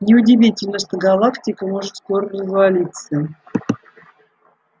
не удивительно что галактика может скоро развалиться